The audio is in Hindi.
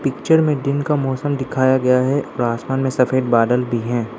पिक्चर में दिन का मौसम दिखाया गया है और आसमान में सफेद बादल भी हैं।